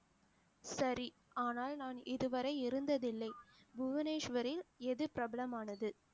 சரி ஆனால் நான் இதுவரை இருந்ததில்லை புவனேஸ்வரில் எது பிரபலமானது